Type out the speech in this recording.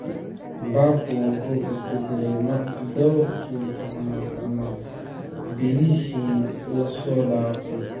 Barku wuu is beddelay dhawrkii toddobaad ama bilihii la soo dhaafay.